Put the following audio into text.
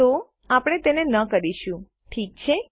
તો આપણે તે ન કરીશું ઠીક છે